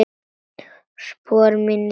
Spor mín létt.